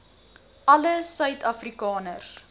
alle suid afrikaners